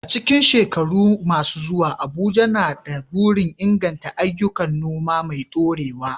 A cikin shekaru masu zuwa, Abuja na da burin inganta ayyukan noma mai dorewa.